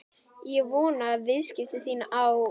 Ég vona að viðskipti þín á